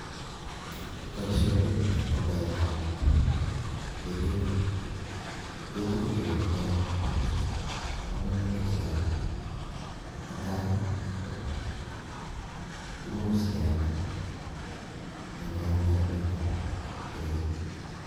Boishoni ko beat tab ngechirek, ngechirek Chu ko tindokomoutik chechang, netai ko imuche kealdai NE ngealda kobitu rabishek.